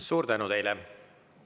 Suur tänu teile!